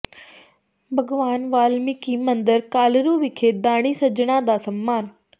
ਭਗਵਾਨ ਵਾਲਮੀਕਿ ਮੰਦਰ ਕਾਲਰੂ ਵਿਖੇ ਦਾਨੀ ਸੱਜਣਾਂ ਦਾ ਸਨਮਾਨ